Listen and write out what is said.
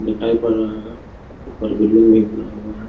दिखाई पड़ रहा है। ऊपर बिल्डिंग भी बना हुआ है।